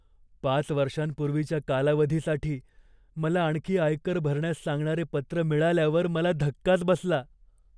पाच वर्षांपूर्वीच्या कालावधीसाठी मला आणखी आयकर भरण्यास सांगणारे पत्र मिळाल्यावर मला धक्काच बसला.